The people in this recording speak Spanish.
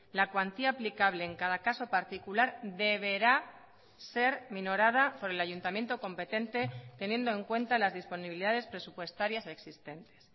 la cuantía aplicable en cada caso particular deberá ser minorada por el ayuntamiento competente teniendo en cuenta las disponibilidades presupuestarias existentes